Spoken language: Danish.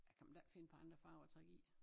Kan man da ikke finde på andre farver at trække i